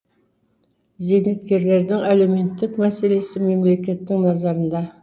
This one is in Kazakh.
зейнеткерлердің әлеуметтік мәселесі мемлекеттің назарында